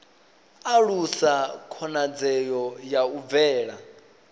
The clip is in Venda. alusa khonadzeo ya u bvela